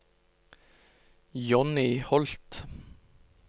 Jonny Holth